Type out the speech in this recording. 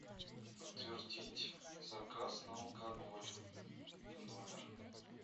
подтвердить заказ на алкоголь в номер